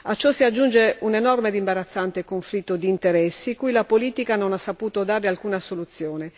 a ciò si aggiunge un enorme e imbarazzante conflitto di interessi cui la politica non ha saputo dare alcuna soluzione.